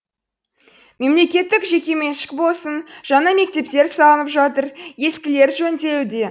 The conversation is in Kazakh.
мемлекеттік жекеменшік болсын жаңа мектептер салынып жатыр ескілері жөнделуде